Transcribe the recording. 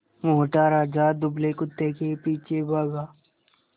मोटा राजा दुबले कुत्ते के पीछे भागा